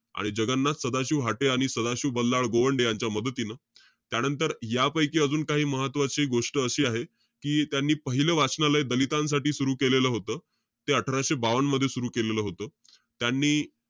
आणि जगन्नाथ सदाशिव हाटे आणि सदाशिव बल्लाळ गोवंडे यांच्या मदतीनं. त्यानंतर, यापैकी अजून काही महत्वाची गोष्ट अशी आहे. कि त्यांनी पाहिलं वाचनालय, दलितांसाठी सुरु केलेलं होतं. ते अठराशे बावन्न मध्ये सुरु केलेलं होतं. त्यांनी,